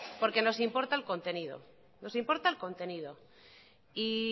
porque nos importa el contenido